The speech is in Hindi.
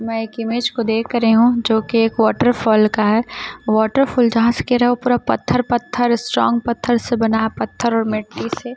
मैं एक इमेज को देख रही हूं जो कि एक वॉटर फॉल का है वाटर फॉल जहाँ से गिर रहा वो पूरा पत्थर पत्थर स्ट्रांग पत्थर से बना है पत्थर और मिट्टी से।